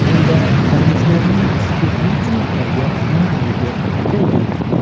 Bunda kalamushlarning spirtli ichimliklarga moyilligi o‘rganilgan.